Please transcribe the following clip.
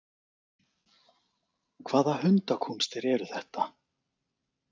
Hvaða hundakúnstir eru þetta!